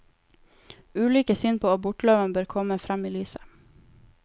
Ulike syn på abortloven bør komme frem i lyset.